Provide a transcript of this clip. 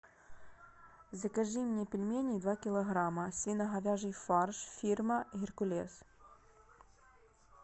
закажи мне пельмени два килограмма свино говяжий фарш фирма геркулес